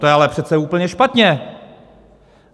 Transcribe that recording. To je ale přece úplně špatně!